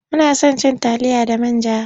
Muna son cin taliya da man ja.